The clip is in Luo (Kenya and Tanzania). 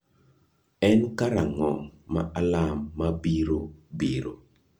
En karang’o ma alarm mabiro biro?